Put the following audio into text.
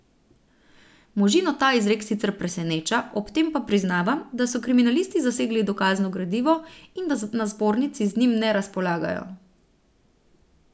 Možino ta izrek sicer preseneča, ob tem pa priznava, da so kriminalisti zasegli dokazno gradivo in da na zbornici z njim ne razpolagajo.